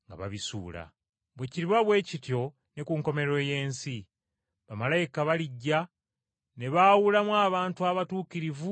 Bwe kiriba bwe kityo ne ku nkomerero y’ensi, bamalayika balijja ne baawulamu abantu abatuukirivu n’ababi.